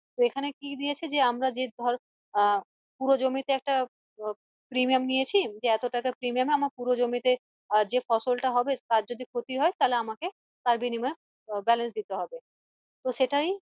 তো এখানে কি দিয়েছে যে আমরা ধর আহ পুরো জমিতে একটা ধর premium নিয়েছি যে এতো টাকার premium এ আমার পুরো জমিতে আহ যে ফসল টা হবে তার যদি ক্ষতি হয় তালে আমাকে তার বিনিময়ে balance দিতে হবে তো সেটারই